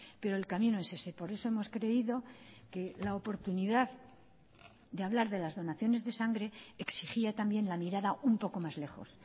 pero el camino es ese por eso hemos creído que la oportunidad de hablar de las donaciones de sangre exigía también la mirada un poco más lejos